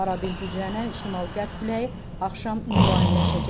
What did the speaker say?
Arabir güclənən şimal-qərb küləyi axşam mülayimləşəcək.